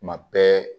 Tuma bɛɛ